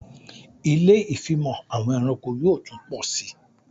Ilé ìfimọ̀ àwọn ẹranko yóò tún pọ sí